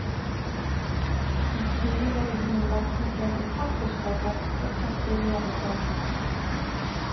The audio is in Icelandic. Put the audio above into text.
Í Kína voru hinum látnu brenndir pappirsbátar og kerti við jarðarfarir.